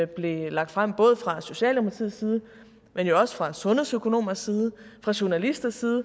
blev lagt frem både fra socialdemokratiets side men også fra sundhedsøkonomers side og fra journalisters side